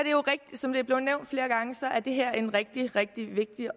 som det er blevet nævnt flere gange er det her en rigtig rigtig vigtig